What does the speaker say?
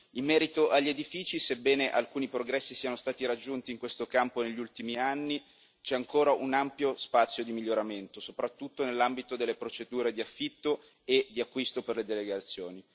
In merito agli edifici, sebbene alcuni progressi siano stati raggiunti in questo campo negli ultimi anni, c'è ancora un ampio spazio di miglioramento, soprattutto nell'ambito delle procedure di affitto e di acquisto per le delegazioni.